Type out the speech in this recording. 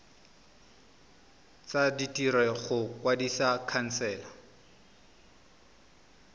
tsa ditiro go kwadisa khansele